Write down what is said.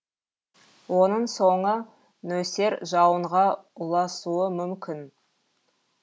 оның соңы нөсер жауынға ұласуы мүмкін